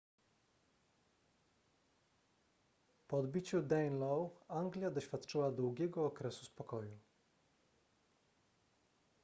po odbiciu danelaw anglia doświadczyła długiego okresu spokoju